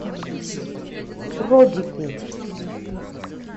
родику